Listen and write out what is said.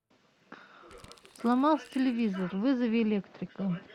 сломался телевизор вызови электрика